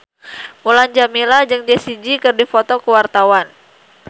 Mulan Jameela jeung Jessie J keur dipoto ku wartawan